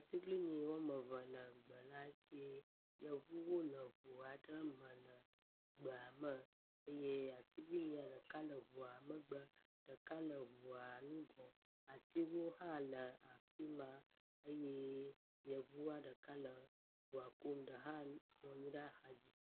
Tiglinyi wɔmeve le gbeladzie, yevuwo le ʋuaɖe me le gbeame eyɛ atiglinyi ɖeka le ʋua megbe, ɖeka le ʋua nugɔ, atsiwo hã le afima eyɛ yevua ɖeka le ʋua kum eyɛ ɖeka nɔnyi ɖe'xadzi